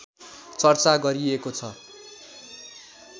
चर्चा गरिएको छ